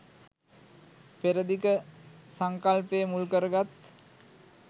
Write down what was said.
පෙර දිග සංකල්පය මුල් කරගත්